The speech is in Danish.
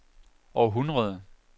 århundrede